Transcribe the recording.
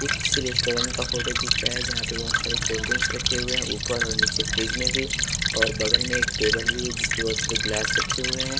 ये किसी रेस्टोरेंट का फोटो दिख रहा है जहाँ पर बहुत सारे कोल्ड्रिंक्स रखे हुए हैं ऊपर और नीचे फ्रिज में भी और बगल में एक टेबल भी है जिस परे बहुत सारे ग्लास रखे हुए हैं।